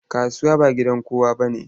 Kasuwa ba gidan kowa bane.